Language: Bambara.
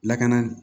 Lakana